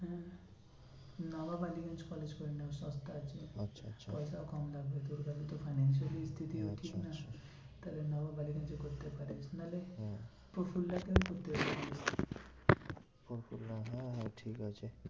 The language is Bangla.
হ্যাঁ ঠিক আছে